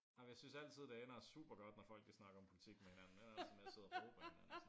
Nej men jeg synes altid det ender super godt når folk de snakker om politk med hinanden det ender altid med at sidde og råbe af hinanden